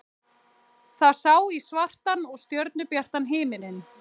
Það sá í svartan og stjörnubjartan himininn.